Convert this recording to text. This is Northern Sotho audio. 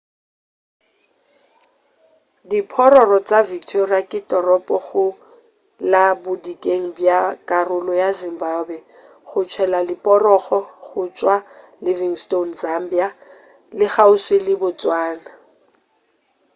diphororo tša victoria ke toropo go la bodikela bja karolo ya zimbabwe go tshela leporogo go tšwa livingstone zambia le kgauswi le botswana